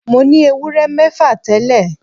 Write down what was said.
Mo ní ewúrẹ́ mẹ́fà tẹ́lẹ̀